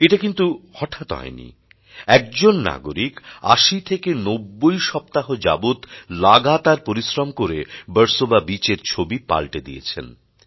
এটা কিন্তু হঠাৎ হয়নি একজন নাগরিক ৮০ ৯০ সপ্তাহ যাবৎ লাগাতার পরিশ্রম করে বার্সোবা বিচ এর ছবি পালটে দিয়েছেন